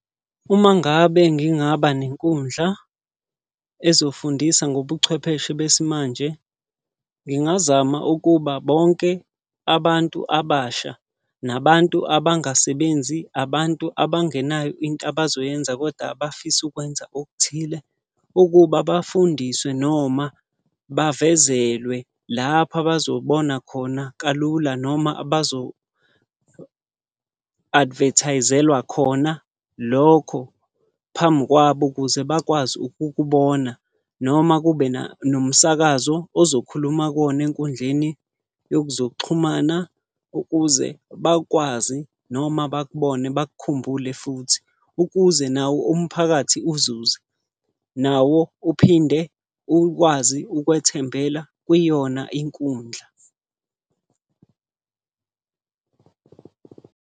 Uma ngabe ngingaba nenkundla ezofundisa ngobuchwepheshe besimanje. Ngingazama ukuba bonke abantu abasha, nabantu abangasebenzi, abantu abangenayo into abazoyenza koda abafisa ukwenza okuthile. Ukuba bafundiswe noma bavezelwe lapho abazobona khona kalula noma abazo advertise-lwa khona lokho phambi kwabo ukuze bakwazi ukukubona. Noma kube nomsakazo ozokhuluma kuwona enkundleni yezokuxhumana ukuze bakwazi noma bakubone bakukhumbule futhi. Ukuze nawo umphakathi uzuze. Nawo uphinde ukwazi ukwethembela kwiyona inkundla.